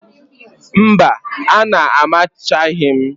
Mba, a na-amachaghị m